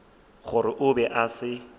gore o be a se